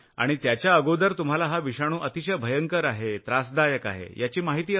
आणि त्याच्या अगोदर तुम्हाला हा विषाणु अतिशय भयंकर आहे त्रासदायक आहे असं तुम्हाला वाटत असेल